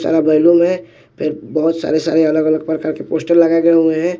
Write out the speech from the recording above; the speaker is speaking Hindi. सारा बैलून है फिर बहोत सारे सारे अलग अलग प्रकार के पोस्टर लगायें हुए है।